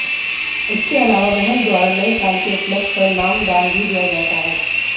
इसके अलावा महंत द्वारा नए साल के उपलक्ष्य पर नाम दान भी दिया जाता है